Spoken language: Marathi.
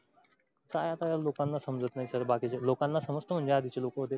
काय आता लोकांना समजत नाही बाकीचे लोकांना समजतं म्हणजे आदीचे लोक होते.